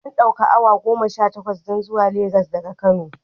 Ana ɗaukar away goma Sha takwas don zuwa Lagos daga kano